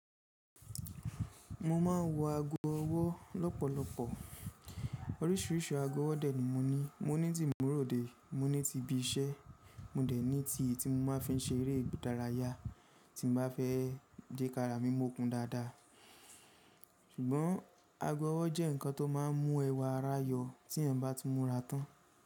Mo ma n wo ago ọwọ lọpọlọpọ, oríṣiríṣi ago ọwọ dẹ ni moni, moni ti mu rode, moni ti ibi iṣẹ́, mo dẹ ni ti mó mà fi n ṣe éré ìdàrayá, ti n bà fẹ kàrà mí mòkún dáadá. Ṣùgbọ́n ago ọwọ jẹ́ nkan tó mà n mù ẹwà ará yọ tí eyan bá ti mù rà tán.